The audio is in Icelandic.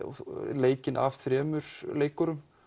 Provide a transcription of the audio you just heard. leikinn af þremur leikurum